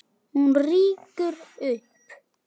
Hún rýkur upp.